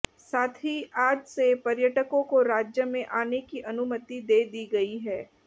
साथ ही आज से पर्यटकों को राज्य में आने की अनुमति दे दी गई है